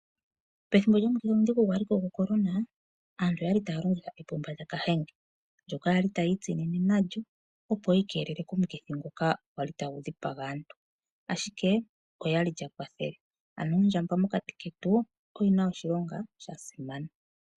Pethimbo lyomukithi omudhigu gwaliko gwocorona aantu oyali taya longitha epupa lyaKahenge. Aantu oyali tayi itisinine nalyo, opo yi ikelele komukithi omudhigu gwali tagu dhipaga aantu. Ashike olyali lyakwathele ano ondjamba mokati ketu oyina oshilonga shasimana.